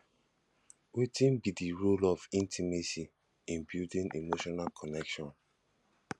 wetin be di role of intimacy in building emotional connection